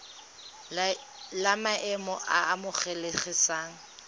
la maemo a a amogelesegang